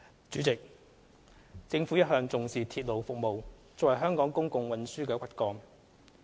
主席，政府一向重視鐵路服務作為香港公共運輸的骨幹。